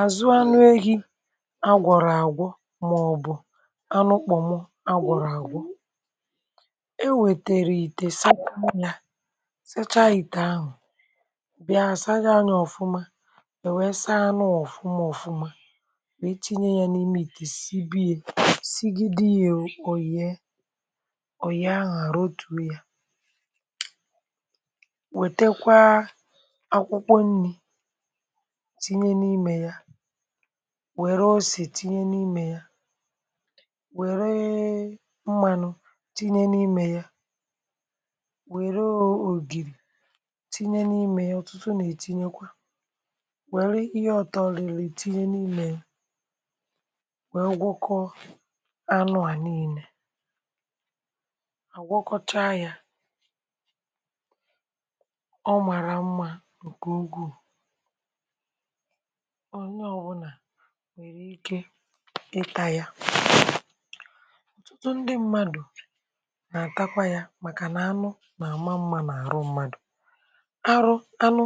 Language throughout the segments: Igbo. àzụ anụ ehi̇ agwọ̀rọ̀ àgwọ, màọ̀bụ̀ anụ kpọ̀mo agwọ̀rọ̀ àgwọ, e wètèrì ite, sachaa ya, sachaa ìtè ahụ̀, bịa saa ya ọ̀fụma, enwe saa anụ ọ̀fụma ọ̀fụma wee tinye ya n’ime ite, sibe ya, sigi dị ya òyìe, òyìe ahụ̀, àrụtu ya, wètekwa akwụkwọ nri tinye n'ime ya, wère ose tinye n’imė ya, wère mmȧnụ̇ tinye n’imė ya, wère ògìri tinye n’imė ya, ọ̀tụtụ nà-ètinyekwa, wère ihe utọ̇ riri tinye n’imė ya, wère gwọkọ anụ̇ à niilė, àgwakọcha yȧ, ọ màrà mmȧ ǹkè ukwu, onye ọbụna nwèrè ike ịtȧ ya, ọ̀tụtụ ndị mmadụ̀ nà-àtakwa ya màkà nà anụ nà-àma mmȧ n’àrụ mmadụ̀, arụ anụ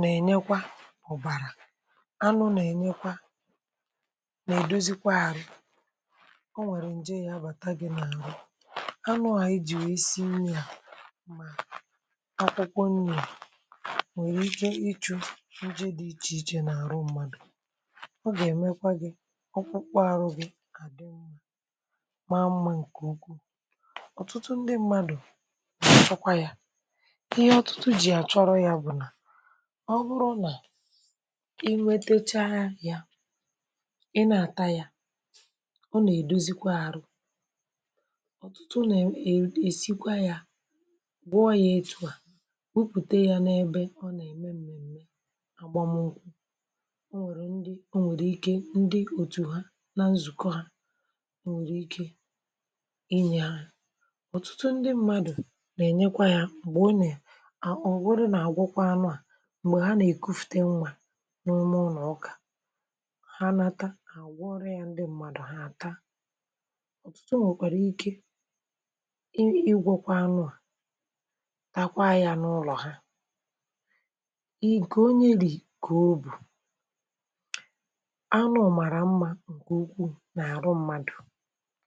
nà-ènyekwa ọ̀bàrà, anụ nà-ènyekwa nà-èdozikwa arụ̇, ọ nwèrè ǹje ya bàta gị n’àrụ anụ à i jì wee si nri, a ma akwụkwọ nri̇ à nwèrè ikė ichù nje dị iche iche na arụ mmadụ, ogà-èmekwa gị akpụkpọ arụ gị adị nmà, ma mma ǹkè ukwuù, ọ̀tụtụ ndị mmadù nà-achokwa yȧ, ihe ọtụtụ jì àchọrọ̇ yȧ bụ̀ nà ọ bụrụ nà i nwetecha yȧ, ị nà-àta yȧ, ọ nà-èdozikwa arụ, ọ̀tụtụ ọ nà-èsikwa yȧ, gwuo yȧ etụ̇ à, bupute yȧ n’ebe a o nà-ème m̀mèmme àgbamu nkwu, o nwe ndị nwèrè ike, ndị òtù ha na nzùkọ ha, o nwèrè ike inyė ha, ọ̀tụtụ ndị mmadụ̀ nà-ènyekwa ya m̀gbè ọ nà o, ofodu na àgwọkwa anụ à m̀gbè ha nà-èkufùte nwa n'ime ụlọ̀ ukà, ha nata, ha àgwọrị ya, ndị mmadụ̀ ha àta, ọ̀tụtụ nwèkwàrà ike ị ịgwọ̇kwa anụ à, takwa ya n’ụlọ̀ ha, nke onye ri kà o bù, anụ màrà mmà gà-ùkwù n’àrụ mmadụ̀.